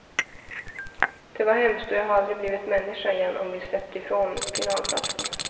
Det var hemskt och jag hade aldrig blivit människa igen om vi släppt ifrån finalplatsen.